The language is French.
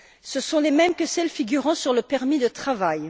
Ce sont les mêmes que ceux figurant sur le permis de travail.